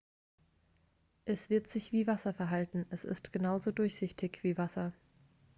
"""es wird sich wie wasser verhalten. es ist genauso durchsichtig wie wasser.